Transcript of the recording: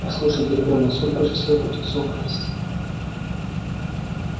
послушай гермиона сколько же всего придётся украсть